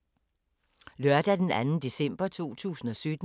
Lørdag d. 2. december 2017